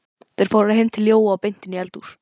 Þeir fóru heim til Jóa og beint inn í eldhús.